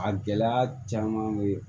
A gɛlɛya caman bɛ